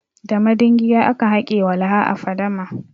Da madingiya aka hake walaha a fadama.